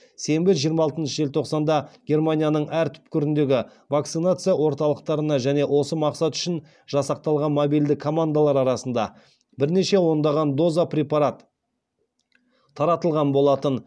сенбі жиырма алтыншы желтоқсанда германияның әр түкпіріндегі вакцинация орталықтарына және осы мақсат үшін жасақталған мобильді командалар арасында бірнеше ондаған доза препарат таратылған болатын